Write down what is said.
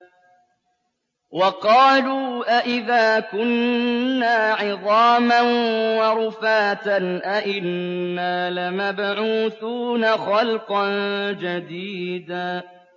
وَقَالُوا أَإِذَا كُنَّا عِظَامًا وَرُفَاتًا أَإِنَّا لَمَبْعُوثُونَ خَلْقًا جَدِيدًا